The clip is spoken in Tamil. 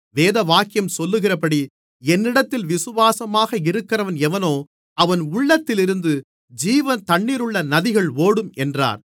வேதவாக்கியம் சொல்லுகிறபடி என்னிடத்தில் விசுவாசமாக இருக்கிறவன் எவனோ அவன் உள்ளத்திலிருந்து ஜீவத்தண்ணீருள்ள நதிகள் ஓடும் என்றார்